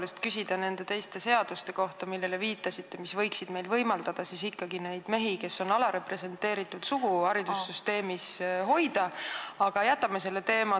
Tahtsin küsida nende teiste seaduste kohta, millele te viitasite ja mis võiksid võimaldada ikkagi mehi, kes on alarepresenteeritud sugu, haridussüsteemis hoida, aga jätame selle teema.